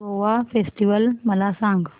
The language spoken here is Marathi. गोवा फेस्टिवल मला सांग